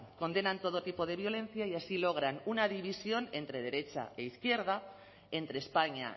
condenan todo tipo de violencia y así logran una división entre derecha e izquierda entre españa